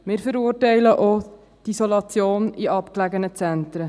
Wir verurteilen auch die Isolation in abgelegenen Zentren.